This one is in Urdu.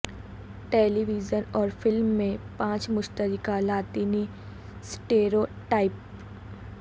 ٹیلی ویژن اور فلم میں پانچ مشترکہ لاطینی سٹیروٹائپ